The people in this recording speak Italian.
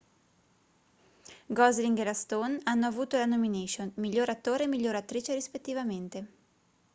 gosling e la stone hanno avuto la nomination miglior attore e miglior attrice rispettivamente